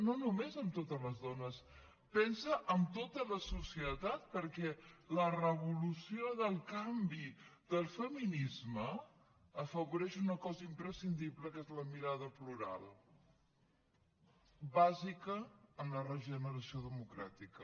no només en totes les dones pensa en tota la societat perquè la revolució del canvi del feminisme afavoreix una cosa imprescindible que és la mirada plural bàsica en la regeneració democràtica